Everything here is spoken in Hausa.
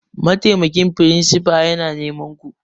Mataimakin firinsifa na neman ku!